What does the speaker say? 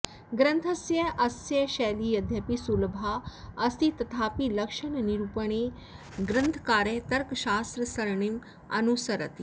ग्रन्थस्यास्य शैली यद्यपि सुलभा अस्ति तथापि लक्षणनिरूपणे ग्रन्थकारः तर्कशास्त्रसरणिम् अनुसरति